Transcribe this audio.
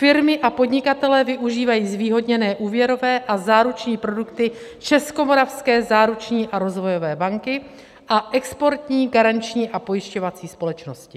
Firmy a podnikatelé využívají zvýhodněné úvěrové a záruční produkty Českomoravské záruční a rozvojové banky a Exportní garanční a pojišťovací společnosti.